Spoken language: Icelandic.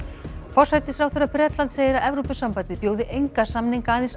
forsætisráðherra Bretlands segir að Evrópusambandið bjóði enga samninga aðeins